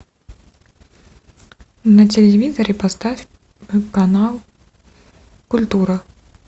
на телевизоре поставь канал культура